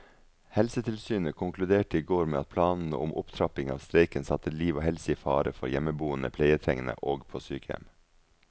Helsetilsynet konkluderte i går med at planene om opptrapping av streiken satte liv og helse i fare for hjemmeboende pleietrengende og på sykehjem.